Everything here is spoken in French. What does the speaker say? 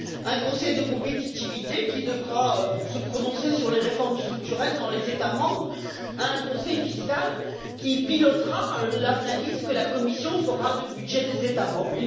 un Conseil de compétitivité qui devra se prononcer sur les réformes structurelles dans les États membres, un Conseil fiscal qui pilotera l'analyse que la Commission fera du budget des États membres.